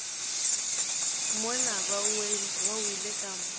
mola ba wele ka mpa